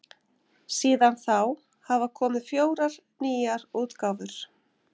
síðan þá hafa komið fjórar nýjar útgáfur